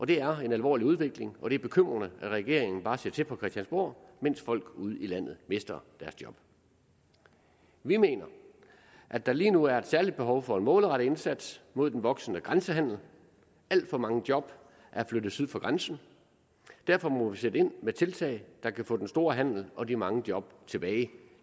det er en alvorlig udvikling og det er bekymrende at regeringen bare ser til fra christiansborg mens folk ude i landet mister deres job vi mener at der lige nu er et særligt behov for en målrettet indsats mod den voksende grænsehandel alt for mange job er flyttet syd for grænsen derfor må vi sætte ind med tiltag der kan få den store handel og de mange job tilbage